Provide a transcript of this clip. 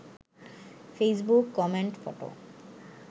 Facebook comment photo